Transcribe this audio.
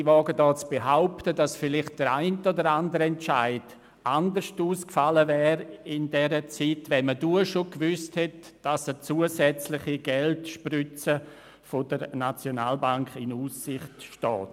Ich wage zu behaupten, dass vielleicht der eine oder andere Entscheid anders ausgefallen wäre, wenn man damals bereits gewusst hätte, dass eine zusätzliche Geldspritze der SNB in Aussicht steht.